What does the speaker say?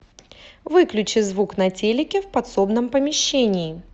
выключи звук на телике в подсобном помещении